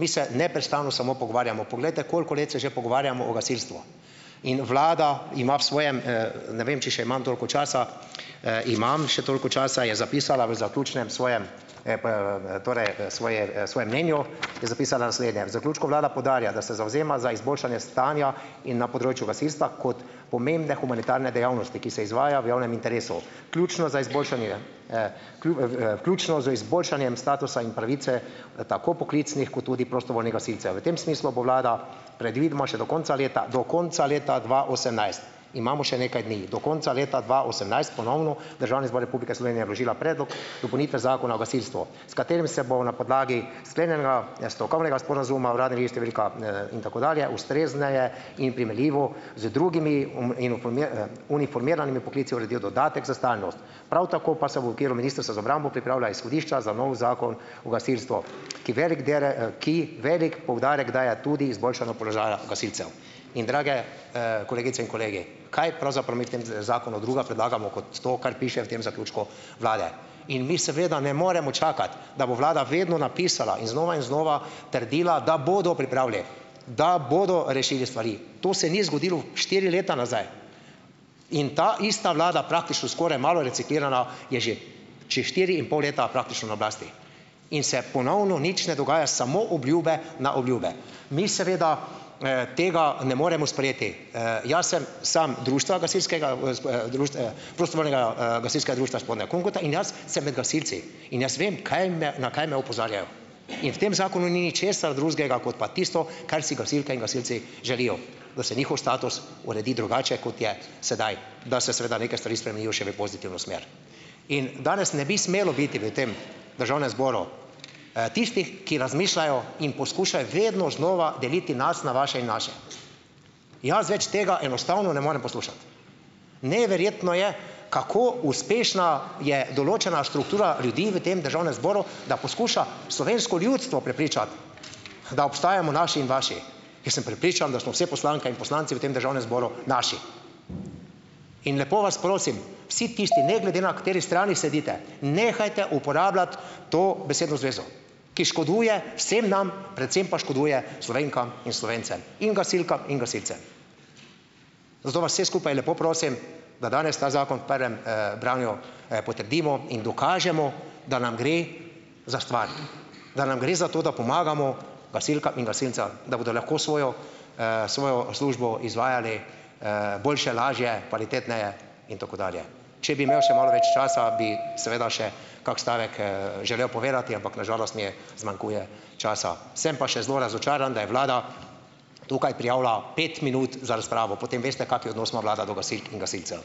Mi se neprestano samo pogovarjamo, poglejte, koliko let se že pogovarjamo o gasilstvu. In vlada ima v svojem ne vem, če še imam toliko časa, imam še toliko časa je zapisala v zaključnem svojem svojem mnenju je zapisala naslednje: "V zaključku vlada poudarja, da se zavzema za izboljšanje stanja in na področju gasilstva kot pomembne humanitarne dejavnosti, ki se izvaja v javnem interesu. Ključno za izboljšanje ključno z izboljšanjem statusa in pravice, tako poklicnih kot tudi prostovoljnih gasilcev. V tem smislu bo vlada predvidoma še do konca leta do konca leta dva osemnajst ..." Imamo še nekaj dni. "... do konca leta dva osemnajst ponovno Državni zbor Republike Slovenije vložila predlog dopolnitve zakona o gasilstvu, s katerim se bo na podlagi sklenjenega, stavkovnega sporazuma Uradni list številka, in tako dalje, ustrezneje in primerljivo z drugimi uniformiranimi poklici uredil dodatek za stalnost." Prav tako pa se v okviru Ministrstva za obrambo pripravlja izhodišča za novi zakon o gasilstvu, ki veliko ki velik poudarek daje tudi izboljšanju položaja gasilcev. In drage, kolegice in kolegi! Kaj pravzaprav mi v tem z zakonu druga predlagamo kot to, kar piše v tem zaključku vlade. In mi seveda ne moremo čakati, da bo vlada vedno napisala in znova in znova trdila, da bodo pripravili, da bodo rešili stvari. To se ni zgodilo štiri leta nazaj. In ta ista vlada, praktično skoraj malo reciklirana, je že čez štiri in pol leta praktično na oblasti. In se ponovno nič ne dogaja, samo obljube na obljube. Mi seveda tega ne moremo sprejeti. jaz sem sam gasilskega društva, prostovoljnega, gasilskega društva Spodnja Kungota in jaz sem med gasilci. In jaz vem, kaj me, na kaj me opozarjajo. In v tem zakonu ni ničesar drugega kot pa tisto, kar si gasilke in gasilci želijo, da se njihov status uredi drugače, kot je sedaj, da se seveda neke stvari spremenijo še v pozitivno smer. In danes ne bi smelo biti v tem državnem zboru, tistih, ki razmišljajo in poskušajo vedno znova deliti nas na vaše in naše. Jaz več tega enostavno ne morem poslušati. Neverjetno je, kako uspešna je določena struktura ljudi v tem državnem zboru, da poskuša slovensko ljudstvo prepričati, da obstajamo naši in vaši. Jaz sem prepričan, da smo vse poslanke in poslanci v tem državnem zboru naši. In lepo vas prosim, vsi tisti, ne glede na kateri strani sedite, nehajte uporabljati to besedno zvezo, ki škoduje vsem nam, predvsem pa škoduje Slovenkam in Slovencem in gasilkam in gasilcem. Zato vas vse skupaj lepo prosim, da danes ta zakon v prvem, branju, potrdimo in dokažemo, da nam gre za stvar, da nam gre za to, da pomagamo gasilkam in gasilcem, da bodo lahko svojo, svojo službo izvajali, boljše, lažje, kvalitetneje in tako dalje. Če bi imeli še malo več časa bi, seveda, še kak stavek, želel povedati, ampak na žalost mi je zmanjkuje časa. Sem pa še zelo razočaran, da je vlada tukaj prijavila pet minut za razpravo, potem veste, kakšen odnos ima vlada do gasilk in gasilcev.